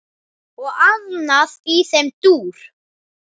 Og annað í þeim dúr.